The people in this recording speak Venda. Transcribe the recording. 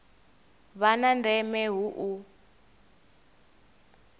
vha na ndeme hu u